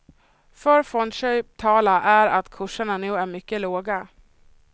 För fondköp talar är att kurserna nu är mycket låga.